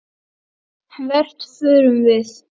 Hvert förum við?